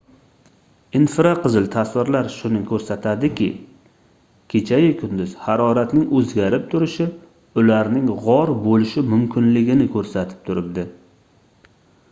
infraqizil tasvirlar shuni koʻrsatadiki kecha-yu kunduz haroratning oʻzgarib turishi ularning gʻor boʻlishi mumkinligini koʻrsatib turibdi